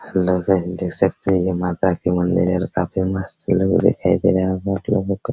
और लोग है देख सकते हैं ये माता का मंदिर है और काफी मस्त लोग दिखाई दे रहे हैं --